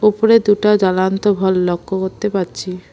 উপরে দুটা লক্ষ্য করতে পারছি।